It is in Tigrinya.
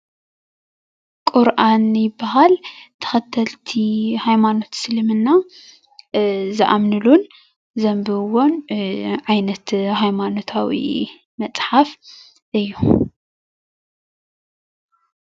ቊርኣን ይበሃል፡፡ ተኸተልቲ ሃይማኖት እስልምና ዝኣምንሉን ዘንብብዎን ዓይነት ሃይማኖታዊ መፅሓፍ እዩ፡፡